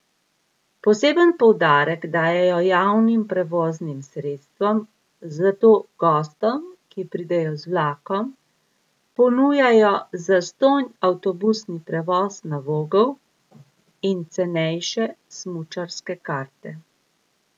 Poseben poudarek dajejo javnim prevoznim sredstvom, zato gostom, ki pridejo z vlakom, ponujajo zastonj avtobusni prevoz na Vogel in cenejše smučarske karte.